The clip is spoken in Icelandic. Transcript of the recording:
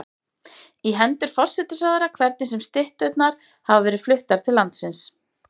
í hendur forsætisráðherra, hvernig sem stytturnar hafa verið fluttar til landsins.